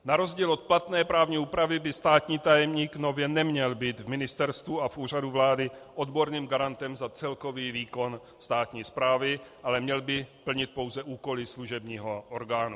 Na rozdíl od platné právní úpravy by státní tajemník nově neměl být v ministerstvu a v Úřadu vlády odborným garantem za celkový výkon státní správy, ale měl by plnit pouze úkoly služebního orgánu.